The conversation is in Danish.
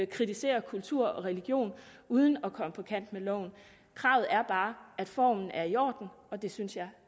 kritisere kultur og religion uden at komme på kant med loven kravet er bare at formen er i orden og det synes jeg